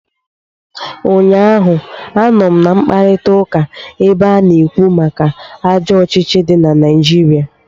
Ụnyaahụ, anọ m na mkparịtaụka ebe a na-ekwu maka ajọ ọchịchị dị na Naijiria